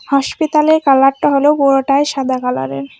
হাসপিতালের কালারটা হল পুরোটাই সাদা কালারের